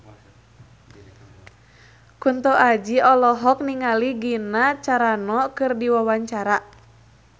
Kunto Aji olohok ningali Gina Carano keur diwawancara